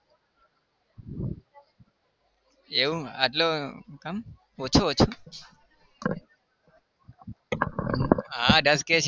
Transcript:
એવું આટલું કેમ ઓછુ ઓછુ હા દસ K